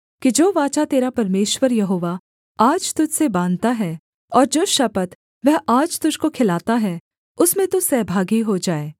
कि जो वाचा तेरा परमेश्वर यहोवा आज तुझ से बाँधता है और जो शपथ वह आज तुझको खिलाता है उसमें तू सहभागी हो जाए